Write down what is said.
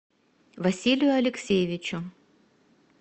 василию алексеевичу